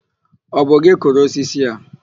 Ọ bụ gị kụrụ osisi a?